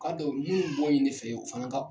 Kan tɛ u ye bɔ ye ne fɛ yen u fana ka